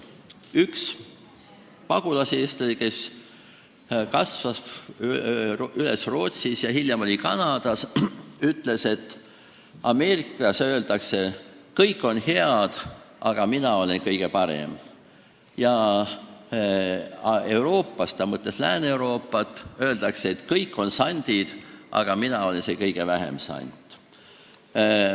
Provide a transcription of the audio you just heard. Üks pagulaseestlane, kes kasvas üles Rootsis ja hiljem elas Kanadas, on öelnud, et Ameerikas öeldakse, et kõik on head, aga mina olen kõige parem, aga Euroopas – ta mõtles Lääne-Euroopat – öeldakse, et kõik on sandid, aga mina olen see kõige vähem sant.